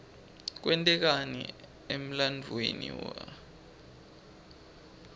kwente kani emlanduuemi waklte